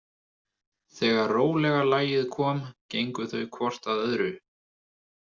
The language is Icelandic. Þegar rólega lagið kom gengu þau hvort að öðru.